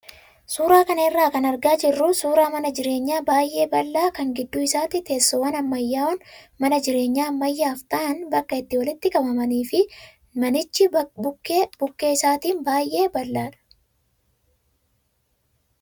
Suuraa kana irraa kan argaa jirru suuraa mana jireenyaa baay'ee bal'aa kan gidduu isaatti teessoowwan ammayyaa'oon mana jireenyaa ammayyaaf ta'an bakka itti walitti qabamanii fi manichi bukkee bukkee isaatiin baay'ee bal'aadha.